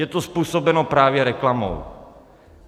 Je to způsobeno právě reklamou.